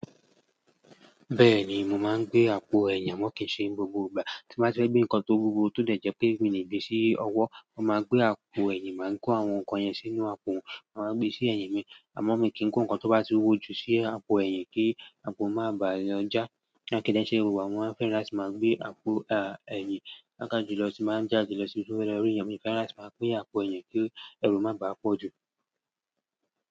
Bẹ́ẹ̀ni, mò máa ń gbé àpò ẹ̀yìn, àmọ́ kì í ṣe gbogbo ìgbà. Tí mo bá fẹ́ gbé nǹkan tó wúwo tó jẹ́ pé mí ní gbé sí ọwọ́, mo máa gbé àpò ẹ̀yìn, màá kó àwọn nǹkan yẹn sínú àpò, màá wá gbé sí ẹ̀yìn mi. Àmọ́ mi kì í kó nǹkan tó bá ti wúwo ju sí àpò ẹ̀yìn kí àpò má bàa lọ́jà. Kí dè ṣe gbogbo ìgbà ni mo máa ń fẹ́ràn láti máa gbé àpò, à, ẹ̀yìn pàápà jù lọ tí bá ń jáde lọ sí ibi tí mo ti fẹ́ lọ rí èèyàn, mi ò kì n like kí n má bá gbé àpò ẹ̀yìn kí ẹrù má bá pọ̀ jù.